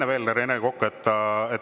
Enne veel, Rene Kokk.